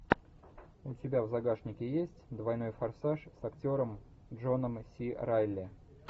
у тебя в загашнике есть двойной форсаж с актером джоном си райли